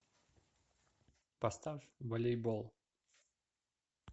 поставь волейбол